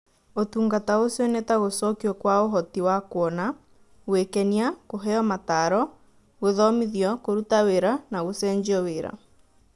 ũtungata ũcio nĩ ta gũcokio kwa ũhoti wa kuona, gwĩkenia, kũheo mataro, gũthomithio kũruta wĩra na gũcenjio wĩra